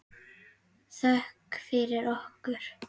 Þökk fyrir okkur.